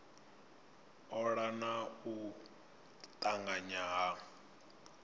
ola na u tanganya ha